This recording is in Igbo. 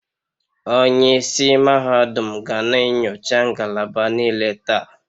onye isi mahadum ga na-enyocha ngalaba niile taa